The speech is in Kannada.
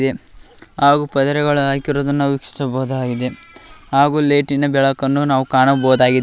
ಹಾಗೂ ಪದರೆಗಳು ಹಾಕಿರೋದನ್ನ ವೀಕ್ಷಿಸಬಹುದಾಗಿದೆ ಹಾಗೂ ಲೈಟಿನ ಬೆಳಕನ್ನು ನಾವು ಕಾಣಬಹುದಾಗಿದೆ.